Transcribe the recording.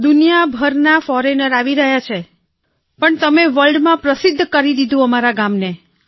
દુનિયાભરના ફૉરેનર આવી રહ્યા છે પણ તમે વર્લ્ડમાં પ્રસિદ્ધ બનાવી દીધું છે અમારા ગામને